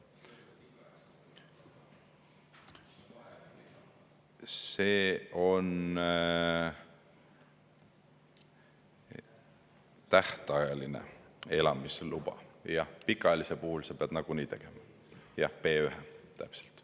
See on tähtajaline elamisluba, pikaajalise puhul sa pead nagunii tegema B1, täpselt.